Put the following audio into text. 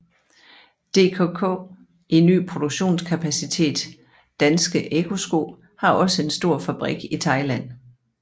DKK i ny produktionskapacitet Danske Ecco Sko har også en stor fabrik i Thailand